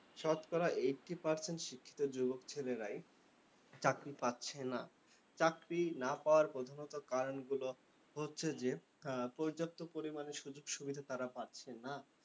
শতকরা eighty percent শিক্ষিত যুবক ছেলেরাই চাকরি পাচ্ছে না। চাকরি না পাওয়ার প্রথমত কারণগুলো হচ্ছে যে, পর্যাপ্ত পরিমানে সুযোগ সুবিধা তারা পাচ্ছে না।